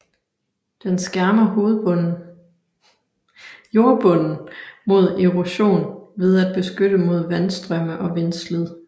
Den skærmer jordbunden mod erosion ved at beskytte mod vandstrømme og vindslid